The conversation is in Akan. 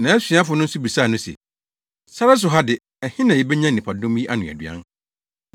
Nʼasuafo no nso bisaa no se, “Sare so ha de, ɛhe na yebenya nnipadɔm yi ano aduan?”